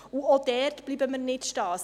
Auch dort bleiben wir nicht stehen.